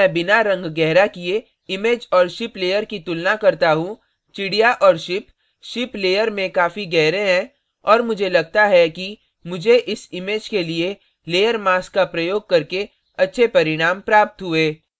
जब मैं बिना रंग गहरा किए image और ship layer की तुलना करता हूँ चिड़िया और ship ship layer में काफी गहरे हैं और मुझे लगता है कि मुझे इस image के लिए layer mask का प्रयोग करके अच्छे परिणाम प्राप्त हुए